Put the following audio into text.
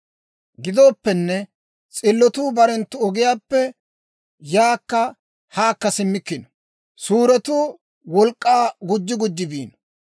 Gidooppenne, s'illotuu barenttu ogiyaappe yaakka haakka simmikkino; suuretuu wolk'k'aa gujji gujji biino.